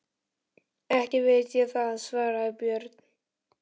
Ekki veit ég það, svaraði Björn.